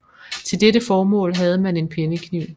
Til dette formål havde man en pennekniv